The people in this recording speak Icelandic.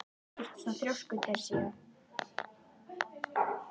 Af hverju ertu svona þrjóskur, Teresía?